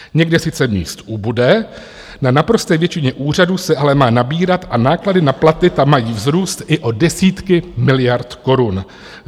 Někde sice míst ubude, na naprosté většině úřadů se ale má nabírat a náklady na platy tam mají vzrůst i o desítky miliard korun.